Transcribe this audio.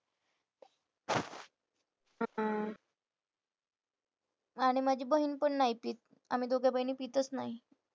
आणि माझी बहीण पण नाही पित. आम्ही दोघं बहिणी पितच नाही.